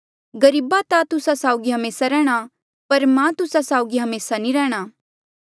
गरीब ता तुस्सा साउगी हमेसा रैहणे पर मां तुस्सा साउगी हमेसा नी रैंह्णां